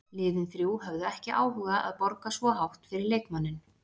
Liðin þrjú höfðu ekki áhuga að borga svo hátt fyrir leikmanninn.